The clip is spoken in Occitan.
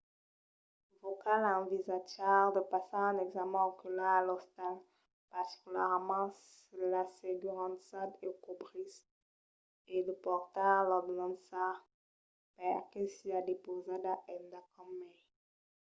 vos cal envisatjar de passar un examèn ocular a l'ostal particularament se l'assegurança o cobrís e de portar l'ordenança per que siá depausada endacòm mai